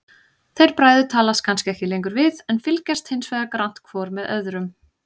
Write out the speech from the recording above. Þeir bræður talast kannski ekki lengur við, en fylgjast hinsvegar grannt hvor með öðrum.